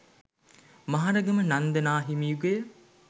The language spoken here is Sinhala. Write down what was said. මහරගම නන්ද නා හිමි යුගය